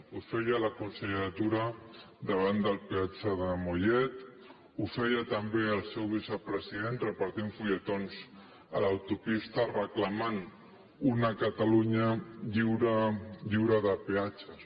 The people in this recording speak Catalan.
ho feia la consellera tura davant del peatge de mollet ho feia també el seu vicepresident repartint fulletons a l’autopista reclamant una catalunya lliure de peatges